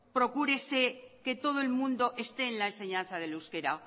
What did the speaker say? procúrese que todo el mundo esté en la enseñanza del euskara